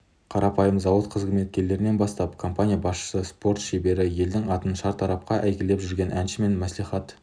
қарапайым зауыт қызметкерінен бастап компания басшысы спорт шебері елдің атын шартарапқа әйгілеп жүрген әнші мен мәслихат